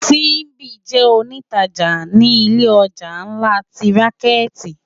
Simbi jè ónitàjá ni ilé òjá nlá ti rànkèti